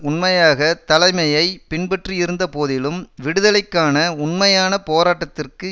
உண்மையாக தலைமையை பின்பற்றியிருந்த போதிலும் விடுதலைக்கான உண்மையான போராட்டத்திற்கு